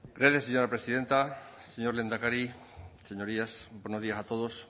gracias señora presidenta señor lehendakari señorías buenos días a todos